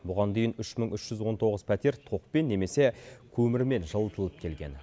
бұған дейін үш мың үш жүз он тоғыз пәтер токпен немесе көмірмен жылытылып келген